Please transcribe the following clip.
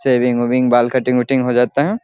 Shaving वेविंग बाल cutting वटींग हो जाता है।